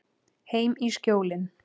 Heim í Skjólin.